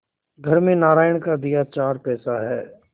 घर में नारायण का दिया चार पैसा है